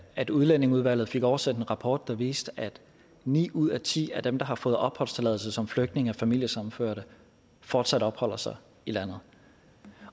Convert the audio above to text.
at udlændingeudvalget fik oversendt en rapport der viste at ni ud af ti af dem der har fået opholdstilladelse som flygtninge og familiesammenførte fortsat opholder sig i landet